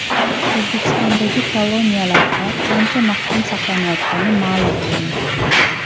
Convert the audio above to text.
O‘zbekistondagi koloniyalarda qancha mahkum saqlanayotgani ma’lum qilindi.